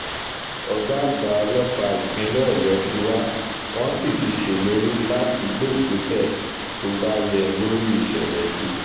ọ̀gá àgbà ọlọ́pàá ìpínlẹ̀ ọ̀yọ́ ti wá wọ́n sì ti ṣèlérí láti gbé ìgbésẹ̀ tó bá yẹ lórí ìṣẹ̀lẹ̀ yìí